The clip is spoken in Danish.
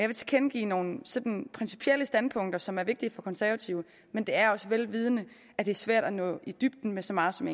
vil tilkendegive nogle sådan principielle standpunkter som er vigtige for konservative men det er også vel vidende at det er svært at nå i dybden med så meget som